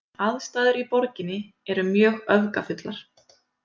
Aðstæður í borginni eru mjög öfgafullar